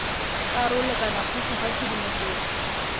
karolo kana gotlhe ga tshedimosetso